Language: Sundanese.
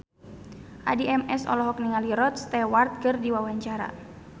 Addie MS olohok ningali Rod Stewart keur diwawancara